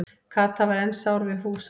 Kata var enn sár við Fúsa.